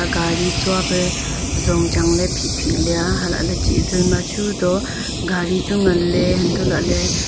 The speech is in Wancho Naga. gari tsua pe zong changley phihphih leya halah ley chih zoi machu to gari chu nganley huntoh lahley--